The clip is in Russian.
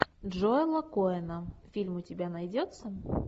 джоэла коэна фильм у тебя найдется